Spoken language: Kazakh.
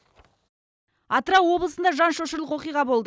атырау облысында жан шошырлық оқиға болды